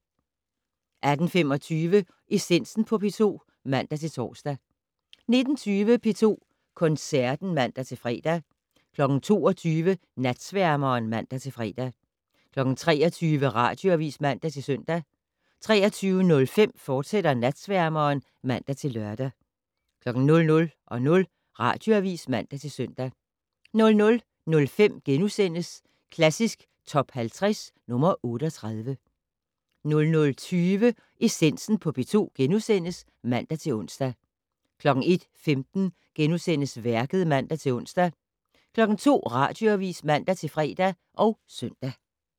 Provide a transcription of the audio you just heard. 18:25: Essensen på P2 (man-tor) 19:20: P2 Koncerten (man-fre) 22:00: Natsværmeren (man-fre) 23:00: Radioavis (man-søn) 23:05: Natsværmeren, fortsat (man-lør) 00:00: Radioavis (man-søn) 00:05: Klassisk Top 50 - nr. 38 * 00:20: Essensen på P2 *(man-ons) 01:15: Værket *(man-ons) 02:00: Radioavis (man-fre og søn)